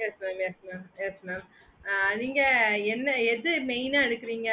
yes mam yes mam yes mam ஆஹ் நீங்க என்ன எது main ஆஹ் எடுக்குறீங்க